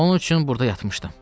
Onun üçün burda yatmışdım.